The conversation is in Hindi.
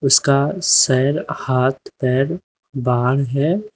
इसका सर हाथ पैर बाहर है।